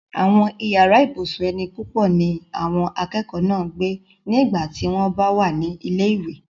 àwọn yàrá ibùsùn ẹni púpọ̀ náà ni àwọn akẹ́kọ̀ọ́ ń gbé ní ìgbà tí wọ́n bá wà ní ilé ìwé